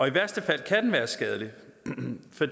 i værste fald være skadelig